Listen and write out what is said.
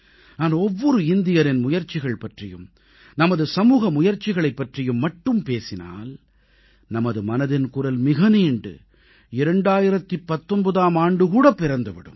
நான் ஒவ்வொரு இந்தியரின் முயற்சிகள் பற்றியும் நமது சமூக முயற்சிகளைப் பற்றியும் மட்டுமே பேசினால் நமது மனதின் குரல் மிக நீண்டு 2019ஆம் ஆண்டு கூட பிறந்து விடும்